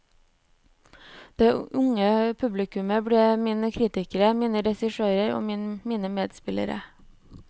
Det unge publikummet ble mine kritikere, mine regissører og mine medspillere.